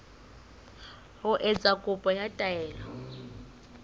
ho etsa kopo ya taelo